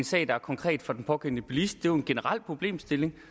sag der er konkret for den pågældende bilist det jo en generel problemstilling